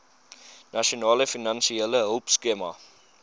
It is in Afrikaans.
nasionale finansiële hulpskema